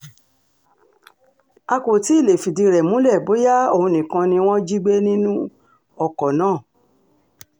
a kò tí ì lè fìdí rẹ̀ múlẹ̀ bóyá òun nìkan ni wọ́n jí gbé nínú ọkọ̀ náà